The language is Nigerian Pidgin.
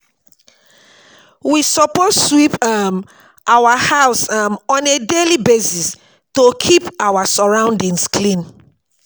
We suppose sweep um our house um on a daily basis to keep our sorroundings clean